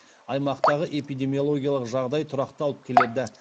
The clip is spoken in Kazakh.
аймақтағы эпидемиологиялық жағдай тұрақталып келеді